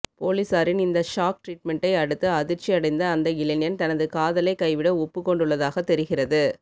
போலீசாரின் இந்த ஷாக் ட்ரிட்மெண்டை அடுத்து அதிர்ச்சி அடைந்த அந்த இளைஞன் தனது காதலை கைவிட ஒப்புக் கொண்டுள்ளதாக தெரிகிறது